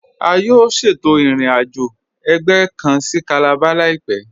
A yóò ṣétò ìrìn-àjọ̀ ẹgbẹ̀ kàn sí Calabar láìpẹ̀.